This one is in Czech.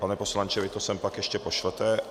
Pane poslanče, vy to sem pak ještě pošlete.